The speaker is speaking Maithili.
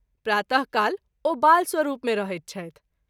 प्रात: काल ओ बाल स्वरूप मे रहैत छथि।